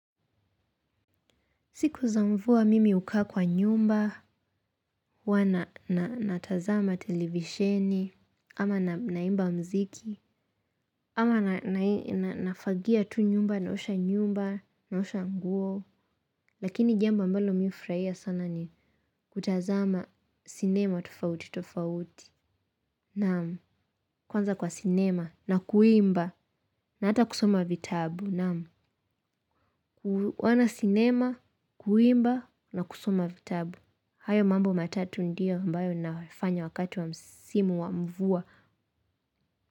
Siku za mvua mimi ukaa nyumbani, uwa na natazama televisheni, ama na naimba mziki, ama nafagia tu nyumba na osha nyumba na osha nguo, lakini jambo ambalo mimi hufruhia sana ni kutazama sinema tufauti tufauti, naam, kwanza kwa sinema na kuimba na hata kusoma vitabu naam, kuona sinema, kuimba na kusoma vitabu, hayo mambo matatu ndio ambayo nafanya wakati wa msimu wa mvua.